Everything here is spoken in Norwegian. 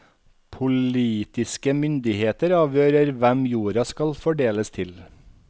Politiske myndigheter avgjør hvem jorda skal fordeles til.